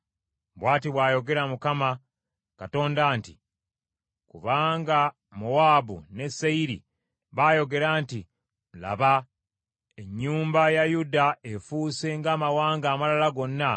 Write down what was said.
“Bw’ati bw’ayogera Mukama Katonda nti, ‘Kubanga Mowaabu ne Seyiri baayogera nti, “Laba ennyumba ya Yuda efuuse ng’amawanga amalala gonna,”